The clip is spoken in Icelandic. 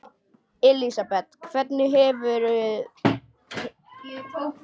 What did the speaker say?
Elísabet: Hvernig hefur helgin annars farið fram?